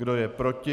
Kdo je proti?